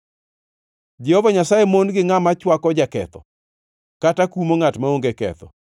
Jehova Nyasaye mon-gi ngʼama chwako jaketho kata kumo ngʼat maonge ketho.